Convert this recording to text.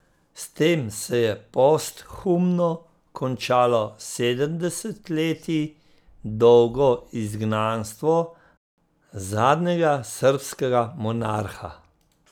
S tem se je posthumno končalo sedem desetletij dolgo izgnanstvo zadnjega srbskega monarha.